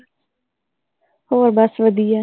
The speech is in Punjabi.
ਹੋਰ ਬਸ ਵਧੀਆ